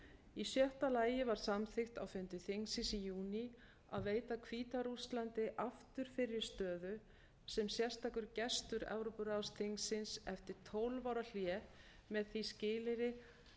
í sjötta lagi var samþykkt á fundi þingsins í júní að veita hvíta rússlandi aftur fyrri stöðu sem sérstakur gestur evrópuráðsþingsins eftir tólf ára hlé með því skilyrði